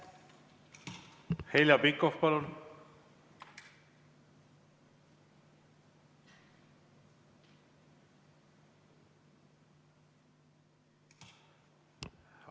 Heljo Pikhof, palun!